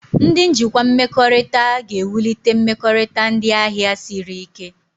Ndị njikwa mmekọrịta ga-ewulite mmekọrịta ndị ahịa siri ike.